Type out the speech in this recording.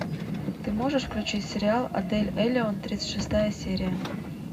ты можешь включить сериал отель элеон тридцать шестая серия